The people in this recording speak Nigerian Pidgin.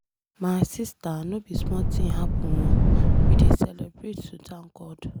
My sister no be small thing happen oo. We dey celebrate to thank God.